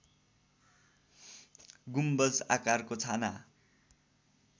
गुम्बज आकारको छाना